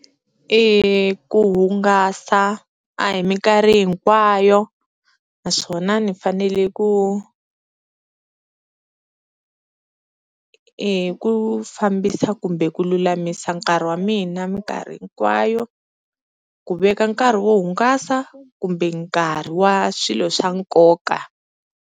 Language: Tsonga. Ku hungasa a hi minkarhi hinkwayo naswona ni fanele ku i hi ku fambisa kumbe ku lulamisa nkarhi wa mina minkarhi hinkwayo, ku veka nkarhi wo hungasa kumbe nkarhi wa swilo swa nkoka.